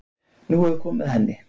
Nú er komið að henni